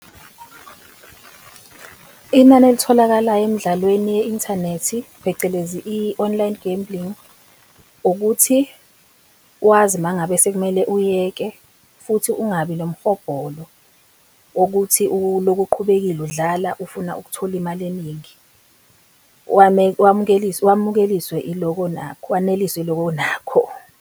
Inani elitholakalayo emdlalweni ye-inthanethi, phecelezi i-online gambling ukuthi wazi uma ngabe sekumele uyeke futhi ungabi nomhobholo wokuthi uloku uqhubekile udlala ufuna ukuthola imali eningi, wamukeliswe wamukeliswe iloko onakho, waneliswe yiloko onakho.